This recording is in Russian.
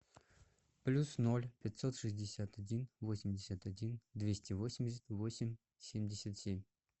плюс ноль пятьсот шестьдесят один восемьдесят один двести восемьдесят восемь семьдесят семь